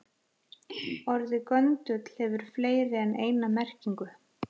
Orðið göndull hefur fleiri en eina merkingu.